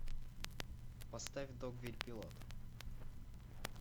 поставь догвилль пилот